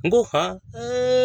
N go han ee